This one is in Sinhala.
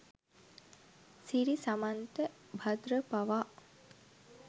සිරි සමන්ත භද්‍ර පවා